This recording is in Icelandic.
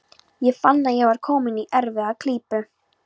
Ég fann að ég var kominn í erfiða klípu.